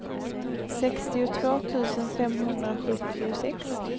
sextiotvå tusen femhundrasjuttiosex